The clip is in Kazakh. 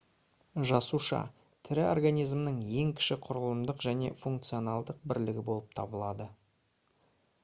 жасуша тірі организмнің ең кіші құрылымдық және функционалдық бірлігі болып табылады